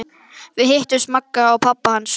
Við hittum Magga og pabba hans!